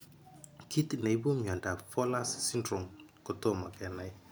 Kit ne ipu mondap Fowler's syndrome kotomo kenai.